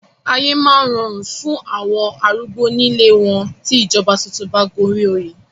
Ayé máa rọrùn fún àwọn arúgbó ní ilée wọn tí ìjọba tuntun bá gun orí òye.